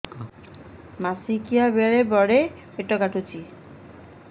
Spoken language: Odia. ମାସିକିଆ ବେଳେ ବଡେ ପେଟ କାଟୁଚି